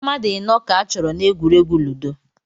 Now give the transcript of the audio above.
Mmadụ ịnọ ka achọrọ n'egwuregwu ludo